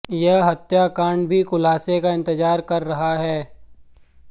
यह हत्याकाण्ड भी खुलासे का इंतजार कर रहा है